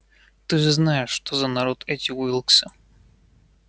ты же знаешь что за народ эти уилксы